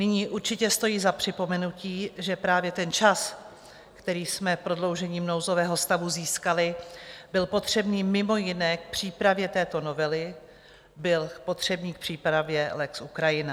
Nyní určitě stojí za připomenutí, že právě ten čas, který jsme prodloužením nouzového stavu získali, byl potřebný mimo jiné k přípravě této novely, byl potřebný k přípravě lex Ukrajina.